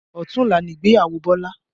Ọ̀tunla ni ìgbéyàwó Bọlá